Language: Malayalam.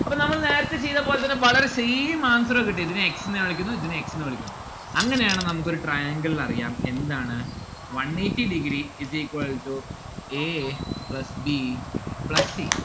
അപ്പൊ നമ്മൾ നേരത്തെ ചെയ്ത പോലെത്തന്നെ വളരെ same answer ആണ് കിട്ടിയത്. ഇതിനെ x ന്ന്‌ കാണിക്കുന്നു ഇതിനെ x എന്ന് വിളിക്കുന്നു. അങ്ങനെയാണ് നമ്മുക്കൊരു triangle അറിയാം എന്താണ് one eighty degree is equal to a plus b plus c